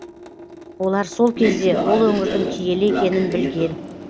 олар сол кезде ол өңірдің киелі екенін білген